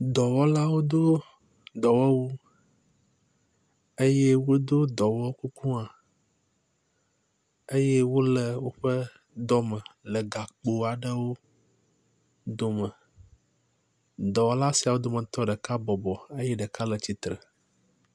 Dɔwɔlawo dó dɔwɔwu eye wodó dɔwɔ kuku hã eye wóle wóƒe dɔ me le gakpo aɖewo dome dɔwɔlasiawo dometɔ ɖeka bɔbɔ eye ɖeka le tsitsre